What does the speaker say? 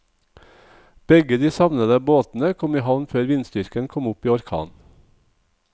Begge de savnede båtene kom i havn før vindstyrken kom opp i orkan.